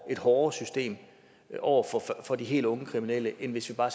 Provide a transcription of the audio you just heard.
hårdere system over for de helt unge kriminelle end hvis vi bare